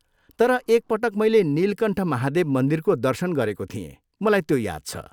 तर एक पटक मैले नीलकण्ठ महादेव मन्दिरको दर्शन गरेको थिएँ, मलाई त्यो याद छ।